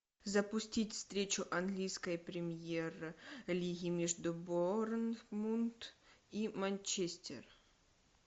запустить встречу английской премьер лиги между борнмут и манчестер